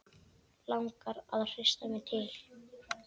Langar að hrista mig til.